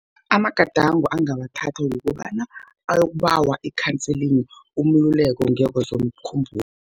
Amagadango angawathatha kukobana, uyokubawa ikhanselingi, umluleko ngekwezomkhumbulo.